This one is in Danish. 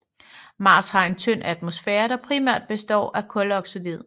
Mars har en tynd atmosfære der primært består af kuldioxid